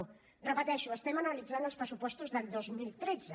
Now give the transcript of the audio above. ho repeteixo estem analitzant els pressupostos del dos mil tretze